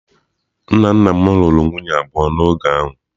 Nna nna m lụrụ nwunye abụọ n’oge ahụ.